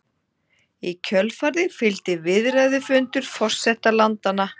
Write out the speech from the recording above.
Í kjölfarið fylgdi viðræðufundur forseta landanna